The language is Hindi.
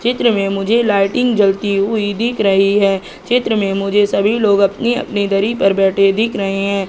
चित्र में मुझे लाइटिंग जलती हुई दिख रही हैं चित्र में मुझे सभी लोग अपनी अपनी दरी पर बैठे दिख रहे हैं।